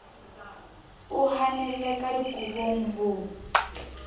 o hanelle ka dikobong ho